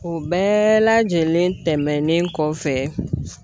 O bɛɛ lajɛlen tɛmɛnen kɔfɛ